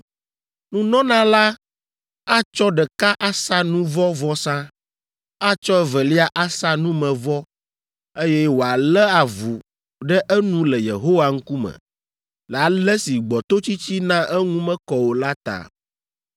Nunɔla la atsɔ ɖeka asa nu vɔ̃ vɔsa, atsɔ evelia asa numevɔ, eye wòalé avu ɖe enu le Yehowa ŋkume le ale si gbɔtotsitsi na eŋu mekɔ o la ta.